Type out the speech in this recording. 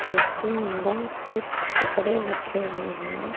जिसके अन्दर कुछ कपड़े रखें हुए हैं।